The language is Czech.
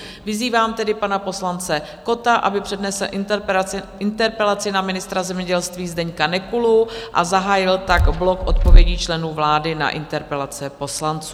Vyzývám tedy pana poslance Kotta, aby přednesl interpelaci na ministra zemědělství Zdeňka Nekulu a zahájil tak blok odpovědí členů vlády na interpelace poslanců.